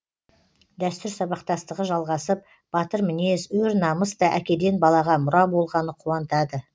дәстүр сабақтастығы жалғасып батыр мінез өр намыс та әкеден балаға мұра болғаны қуантады